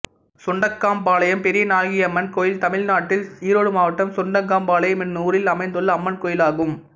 சுண்டக்காம்பாளையம் பெரியநாயகியம்மன் கோயில் தமிழ்நாட்டில் ஈரோடு மாவட்டம் சுண்டக்காம்பாளையம் என்னும் ஊரில் அமைந்துள்ள அம்மன் கோயிலாகும்